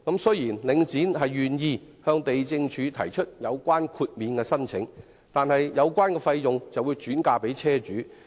雖然領展願意向地政總署提出有關的豁免申請，但所涉費用則會轉嫁車主身上。